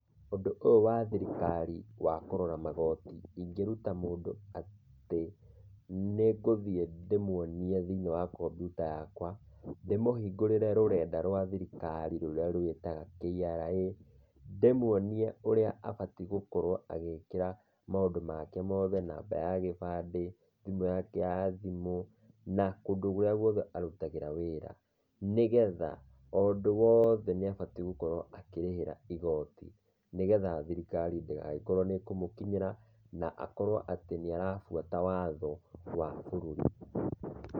Ũndũ ũyũ wa thirikari, wa kũrora magoti ingĩruta mũndũ atĩ, nĩngũthiĩ ndĩmuonie thĩiniĩ wa kombiuta yakwa, ndĩmũhingũrĩre rũrenda rwa thirikari rũrĩa rwĩĩtaga KRA. Ndĩmuonie ũrĩa abatiĩ gũkorwo agĩkĩra maũndũ make mothe, namba ya gĩbandĩ, thimũ yake ya thimũ, na kũndũ kũrĩa guothe arutagĩra wĩra, nĩgetha, o ũndũ woothe nĩabatiĩ gũkorwo akĩrĩhĩra igoti, nĩgetha thirikari ndĩgagĩkorũo nĩĩkũmũkinyĩra, na akorwo atĩ nĩarabuata watho wa bũrũri.